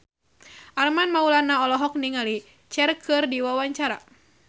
Armand Maulana olohok ningali Cher keur diwawancara